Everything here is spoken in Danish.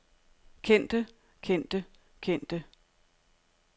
kendte kendte kendte